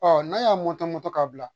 Ɔ n'a y'a moto moto k'a bila